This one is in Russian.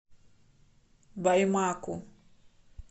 баймаку